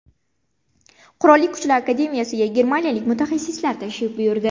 Qurolli Kuchlar akademiyasiga germaniyalik mutaxassislar tashrif buyurdi.